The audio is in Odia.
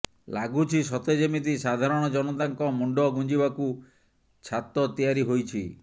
ଲାଗୁଛି ସତେ ଯେମିତି ସାଧାରଣ ଜନତାଙ୍କ ମୁଣ୍ଡ ଗୁଞ୍ଜିବାକୁ ଛାତ ତିଆରି ହୋଇଛି